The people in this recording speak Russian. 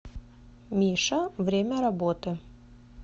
миша время работы